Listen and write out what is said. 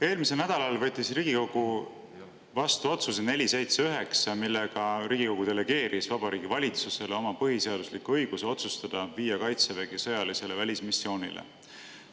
Eelmisel nädalal võttis Riigikogu vastu otsuse 479, millega Riigikogu delegeeris Vabariigi Valitsusele oma põhiseadusliku õiguse otsustada, kas viia Kaitsevägi sõjalisele välismissioonile.